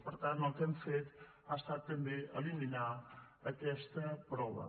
per tant el que hem fet ha estat també eliminar aquesta prova